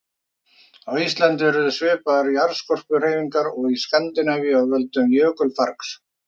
Á Íslandi urðu svipaðar jarðskorpuhreyfingar og í Skandinavíu af völdum jökulfargs.